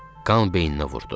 Qan beyninə vurdu.